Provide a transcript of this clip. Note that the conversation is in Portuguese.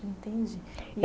Entendi.